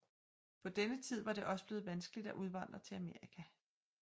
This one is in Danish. På denne tid var det også blevet vanskeligt at udvandre til Amerika